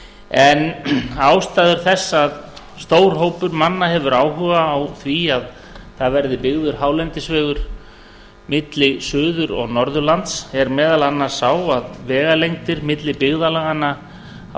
en ástæður þess að stór hópur manna hefur áhuga á því að það verði byggður hálendisvegur milli suður og norðurlands er meðal annars sá að vegalengdir milli byggðarlaganna á